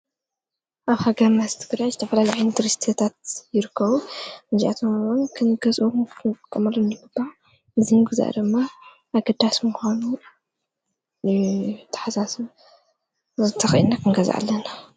ኣብ ሃገርና ትግራይ ዝተፈላልዩ ቱሪስትታት ይርከቡ። እዚኣቶም እውን ከንገዝኦምን ክንጥቀመሉምን ይግባእ። እዚ ምገዛእ ድማ ኣገዳስ ምዃኑ የተሕሳስብ እዚ ተኪእልና ክንገዝእ ኣለና።